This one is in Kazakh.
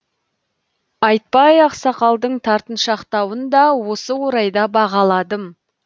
айтбай ақсақалдың тартыншақтауын да осы орайда бағаладым